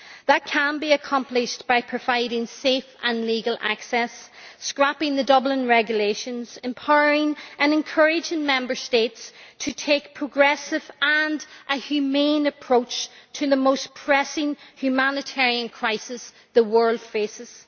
That can be accomplished by providing safe and legal access, scrapping the Dublin Regulations, and empowering and encouraging Member States to take a progressive and humane approach to the most pressing humanitarian crisis the world faces.